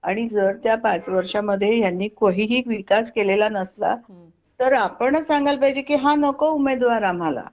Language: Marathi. आणि जर त्या पाच वर्षा मध्ये ह्यांनी काहीही विकास केलेला नसला तर आपणच सांगायला पाहिजे की हा नको उमेदवार आम्हाला